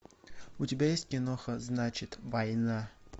у тебя есть киноха значит война